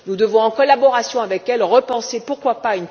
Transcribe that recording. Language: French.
Nous devons, en collaboration avec elle, repenser pourquoi pas?